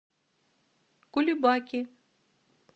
кулебаки